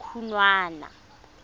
khunwana